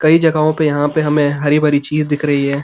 कई जगहों पे यहाँ पे में हमें हरी-भरी चीज़ दिख रही है।